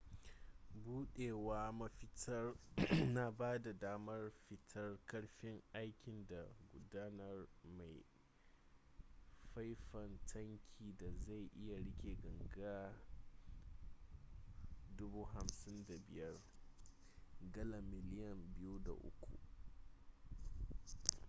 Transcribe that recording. budawar mafitar na bada damar fitar karfin aikin da gudanar mai a faifan tankin da zai iya rike ganga 55,000 gallan miliyan 2.3